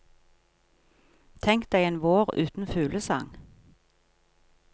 Tenk deg en vår uten fuglesang.